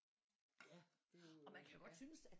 Ja det er jo ja